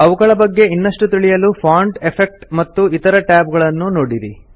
ಅವುಗಳ ಬಗ್ಗೆ ಇನ್ನಷ್ಟು ತಿಳಿಯಲು ಫಾಂಟ್ ಎಫೆಕ್ಟ್ ಮತ್ತು ಇತರ ಟ್ಯಾಬ್ ಗಳನ್ನು ನೋಡಿರಿ